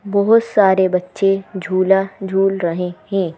बहोत सारे बच्चे झूला झूल रहे हैं।